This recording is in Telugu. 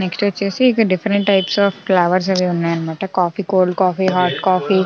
నెక్స్ట్ వచ్చేసి ఇక్కడ డిఫరెంట్ టైప్స్ అఫ్ కాఫీ కతస్ ఉన్నాయి అనమాట coffee cold coffee hot coffee --